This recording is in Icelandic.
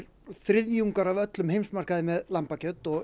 þriðjungur af öllum heimsmarkaði með lambakjöt og